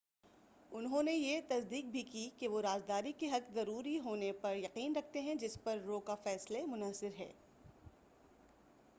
انہوں نے بھی یہ تصدیق کی کہ وہ رازداری کے حق کے ضروری ہونے پر یقین رکھتے ہیں جس پر رو کا فیصلے منحصر ہے